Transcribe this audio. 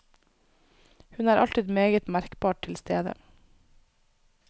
Hun er alltid meget merkbart til stede.